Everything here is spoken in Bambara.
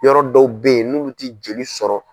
Yɔrɔ dɔw bɛ ye n'ulu tɛ joli sɔrɔ.